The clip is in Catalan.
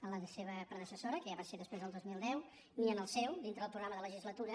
en la seva predecessora que ja va ser després del dos mil deu ni en el seu dintre del programa de legisla·tura